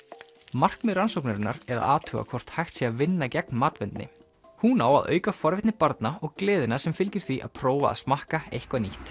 markmið rannsóknarinnar er að athuga hvort hægt sé að vinna gegn matvendni hún á að auka forvitni barna og gleðina sem fylgir því að prófa að smakka eitthvað nýtt